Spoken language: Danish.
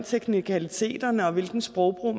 teknikaliteterne og hvilken sprogbrug